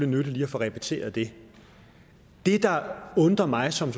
nyttigt lige at få repeteret det det der undrer mig som